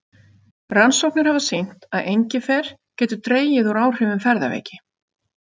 Rannsóknir hafa sýnt að engifer getur dregið úr áhrifum ferðaveiki.